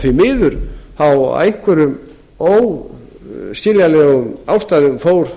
því miður af einhverjum óskiljanlegum ástæðum fór